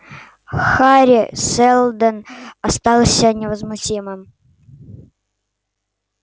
хари сэлдон остался невозмутимым